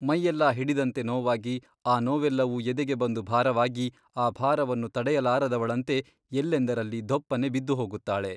ಮೈಯೆಲ್ಲಾ ಹಿಡಿದಂತೆ ನೋವಾಗಿ ಆ ನೋವೆಲ್ಲವೂ ಎದೆಗೆ ಬಂದು ಭಾರವಾಗಿ ಆ ಭಾರವನ್ನು ತಡೆಯಲಾರದವಳಂತೆ ಎಲ್ಲೆಂದರಲ್ಲಿ ಧೊಪ್ಪನೆ ಬಿದ್ದು ಹೋಗುತ್ತಾಳೆ.